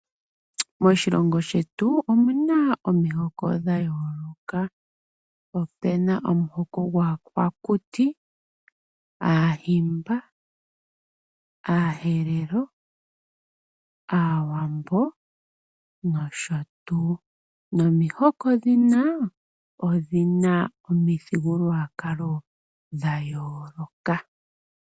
Moshilongo shetu omuna omihoko dha yooloka. Opena omuhoko gwaakwa kuti, aahimba, aaherero, aawambo no sho tuu. Nomihoko ndhino odhina omithigululwakalo dha yooloka